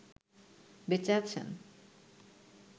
বেঁচে আছেন